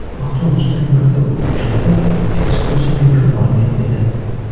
Avtobusdagi maktab o‘quvchilari ekskursiyaga yo‘l olgan edi.